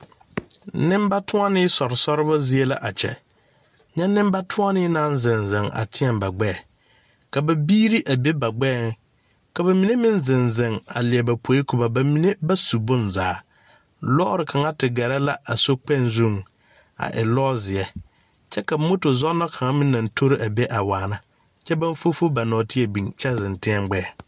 Nenbatoɔnee sore soreba zie la a kyɛ, nyɛ nenbatoɔnee naŋ zeŋ zeŋ a teɛ ba gbeɛ ka ba biiri a be ba gbeɛ ka ba mine meŋ zeŋ zeŋ leɛ ba poɛ ba mine ba su bonzaa lɔre kaŋa te gare la a sokpɛŋ zuŋ a e lɔ ziɛ ka moto zɔɔne kaŋa meŋ aŋ tori a be a waana kyɛ baŋ fofo ba nanteɛ biŋ kyɛ zeŋ teɛ gbeɛ.